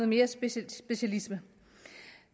mere specialisering